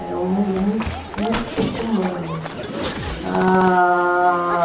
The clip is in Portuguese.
Era um mundo mui muito pouco humano. Ah...